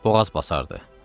Boğaz basardı.